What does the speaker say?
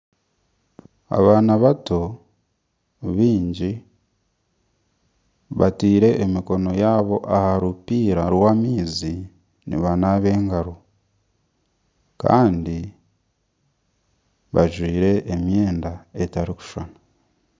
Abaana bata baingi bataire emikono yaabo aha rupiira rw'amaizi nibanaba engaro kandi bajwire emyenda etarikushashana